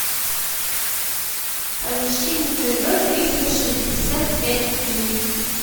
поищи на тв триста шестьдесят пять дней